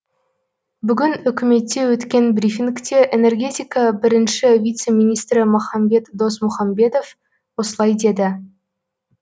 бүгін үкіметте өткен брифингте энергетика бірінші вице министрі махамбет досмұхамбетов осылай деді